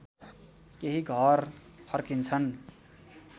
केही घर फर्किन्छन्